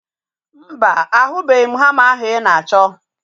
Mba, ahubeghi m hama ahu ị na-achọ